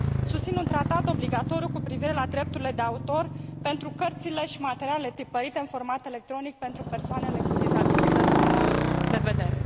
Susțin un tratat obligatoriu cu privire la drepturile de autor pentru cărțile și materialele tipărite în format electronic pentru persoanele cu dizabilități de vedere.